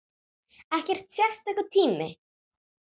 Ekkert sérstakur tími